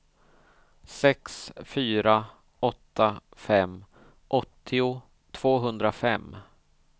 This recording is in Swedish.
sex fyra åtta fem åttio tvåhundrafem